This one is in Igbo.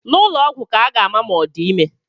N'ụlọ ọgwụ ka a ga-ama ma ọ di ime